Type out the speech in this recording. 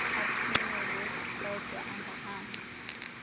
athunyelwa odwa angahambi